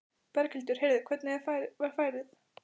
Berghildur: Heyrðu, hvernig var færið?